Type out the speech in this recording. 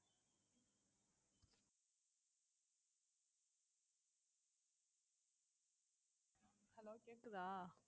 கேக்குதா